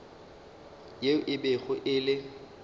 yeo e bego e le